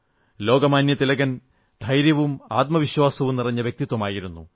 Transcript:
ലോകമാന്യതിലകൻ ധൈര്യവും ആത്മവിശ്വാസവും നിറഞ്ഞ വ്യക്തിത്വമായിരുന്നു